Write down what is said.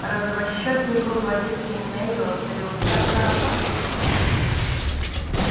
розовощёкий круглолицый невилл залился краской